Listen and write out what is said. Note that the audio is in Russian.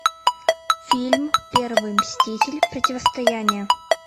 фильм первый мститель противостояние